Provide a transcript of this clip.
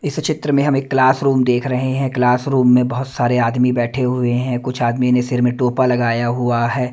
इस चित्र में हम एक क्लास रूम देख रहे हैं क्लास रूम में बहुत सारे आदमी बैठे हुए हैं कुछ आदमी ने सिर में टोपा लगाया हुआ है।